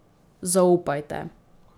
Zaupajte.